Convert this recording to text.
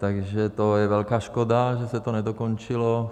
Takže to je velká škoda, že se to nedokončilo.